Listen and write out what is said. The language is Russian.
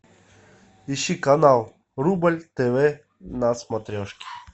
ищи канал рубль тв на смотрешке